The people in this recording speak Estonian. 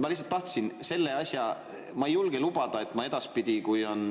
Ma ei julge lubada, et ma edaspidi, kui on